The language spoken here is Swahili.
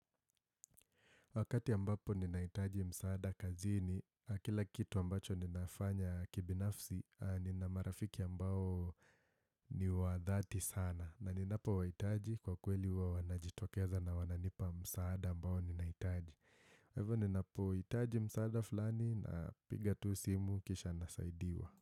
Wakati ambapo ninahitaji msaada kazini, ya kila kitu ambacho ninafanya kibinafsi, nina marafiki ambao ni wa dhati sana. Na ninapo wahitaji kwa kweli huwa wanajitokeza na wananipa msaada ambao ninahitaji. Hivyo ninapohitaji msaada flani napiga tu simu kisha nasaidiwa.